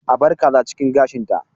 A bar kaza cikin gashinta.